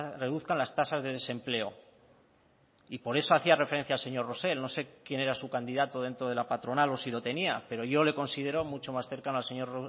reduzcan las tasas de desempleo y por eso hacía referencia al señor rosell no sé quién era su candidato dentro de la patronal o si lo tenía pero yo le considero mucho más cercano al señor